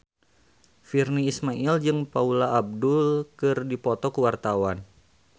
Virnie Ismail jeung Paula Abdul keur dipoto ku wartawan